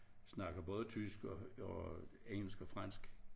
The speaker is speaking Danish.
Snakker både tysk og og engelsk og fransk